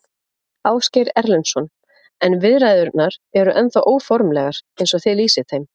Ásgeir Erlendsson: En viðræðurnar eru ennþá óformlegar eins og þið lýsið þeim?